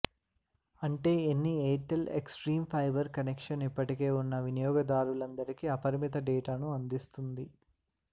అంటే అన్ని Airtel Xstream fiber connection ఇప్పటికే ఉన్న వినియోగదారులందరికీ అపరిమిత డేటాను అందిస్తుంది